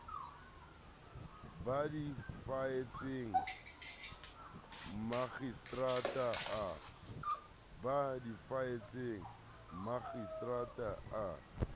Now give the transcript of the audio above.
ba di faetseng makgistrata a